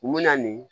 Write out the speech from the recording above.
U bɛ na nin